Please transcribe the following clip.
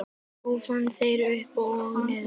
Kúrfan fer upp og niður.